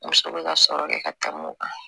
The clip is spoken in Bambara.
Muso bɛ ka sɔrɔ kɛ ka tɛmɛ o kan